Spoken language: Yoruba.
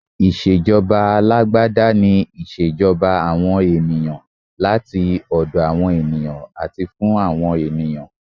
Ìṣèjọba alágbádá ni ìṣèjọba àwọn ènìyàn, láti ọ̀dọ̀ awon ènìyàn àti fún àwọn ènìyàn.